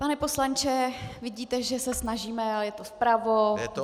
Pane poslanče, vidíte, že se snažíme, ale je to vpravo, vlevo.